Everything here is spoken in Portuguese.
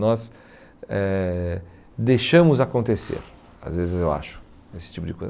Nós eh deixamos acontecer, às vezes eu acho, esse tipo de coisa.